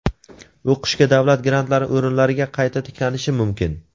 o‘qishga davlat grantlari o‘rinlariga qayta tiklanishi mumkin.